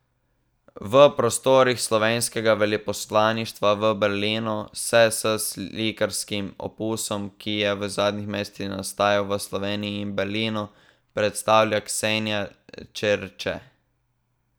V prostorih slovenskega veleposlaništva v Berlinu se s slikarskim opusom, ki je v zadnjih mesecih nastajal v Sloveniji in Berlinu, predstavlja Ksenija Čerče.